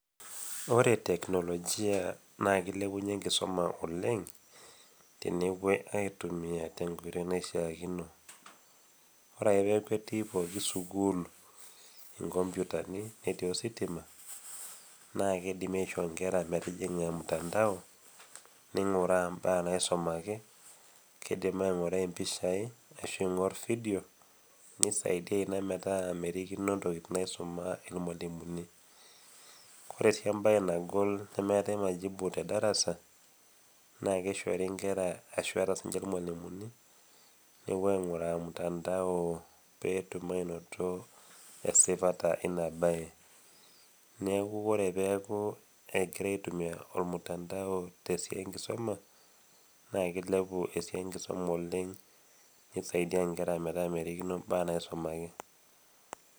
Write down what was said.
Ore teknologia naa keilepunye enkisuma oleng', tenepuoi aitumia te enkoitoi naishaakino. Ore ake pee eaku etii pooki sukuul inkopyutani, netii ositima, naake keidim aikuna inkera metijing'a ormutandao, neing'uraa imbaa naisumaki, neidim ainguraa impishai ashu eingor video, neisaidiaa inaa metaa mekuree erikino intokitin naitamoo ilmwalimuni. Kore sii embae naagol nemeatai majibu te endarasa, naake eishoori enkera ashu keata sii ninche ilmwalimuni, epuo ainguraa mutandao pee etum ainoto esipata Ina bae, neaku ore pee eaku egiraa aitumia ormutandao te esiai e enkisuma, naake keilepu oshi enkisuma oleng' neisaidiaa inkera metaa merikino imbaa naisumaki.